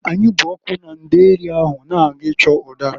Anyị bụ ọkụ na ndeeri ahụ na-aga ịchọ ụdara.